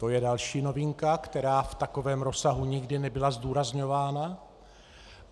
To je další novinka, která v takovém rozsahu nikdy nebyla zdůrazňována.